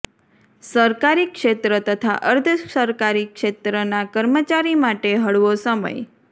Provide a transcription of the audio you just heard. સરકારી ક્ષેત્ર તથા અર્ધ સરકારી ક્ષેત્રનાં કર્મચારી માટે હળવો સમય